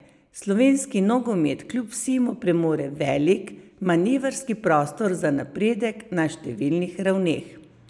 Slovenski nogomet kljub vsemu premore velik manevrski prostor za napredek na številnih ravneh.